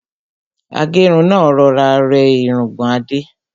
Agẹ́run náà rọra rẹ́ irungbọ̀n Adé.